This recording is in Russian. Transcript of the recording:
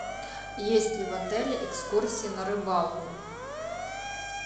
есть ли в отеле экскурсия на рыбалку